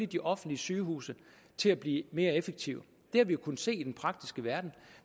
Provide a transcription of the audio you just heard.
de offentlige sygehuse til at blive mere effektive det har vi jo kunnet se i den praktiske verden